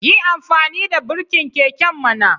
Yi amfani da birkin keken mana